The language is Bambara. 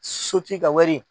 Sotigi ka wari.